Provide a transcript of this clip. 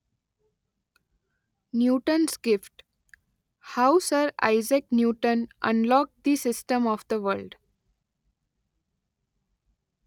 Newton's gift: how sir Isaac Newton unlock the system of the world.